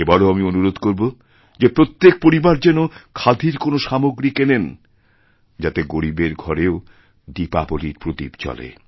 এবারও আমি অনুরোধ করবো যে প্রত্যেক পরিবার যেন খাদির কোনো সামগ্রী কেনেনযাতে গরীবের ঘরেও দীপাবলীর প্রদীপ জ্বলে